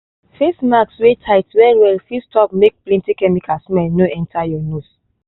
face mask wey tight well well fit stop make plenty chemical smell no enter your nose.